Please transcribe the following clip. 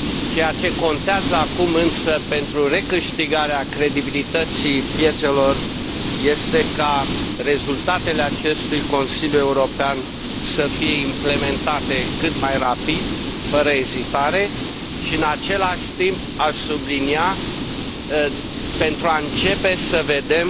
Ceea ce contează acum, însă, pentru recâștigarea credibilității piețelor este ca rezultatele acestui Consiliu European să fie implementate cât mai rapid, fără ezitare, și, în același timp, aș sublinia, astfel încât să începem să vedem